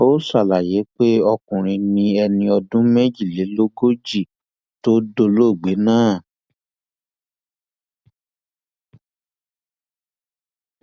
ó ṣàlàyé pé ọkùnrin ni ẹni ọdún méjìlélógójì tó dolóògbé náà